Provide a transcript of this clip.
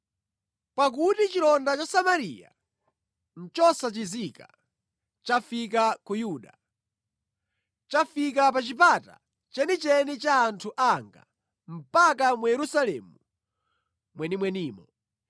Pakuti chilonda cha Samariya nʼchosachizika; chafika ku Yuda. Chafika pa chipata chenicheni cha anthu anga, mpaka mu Yerusalemu mwenimwenimo.